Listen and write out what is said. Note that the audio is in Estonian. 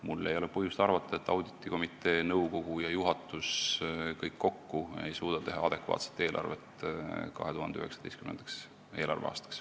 Mul ei ole põhjust arvata, et auditikomitee, nõukogu ja juhatus kokku ei suuda teha adekvaatset eelarvet 2019. eelarveaastaks.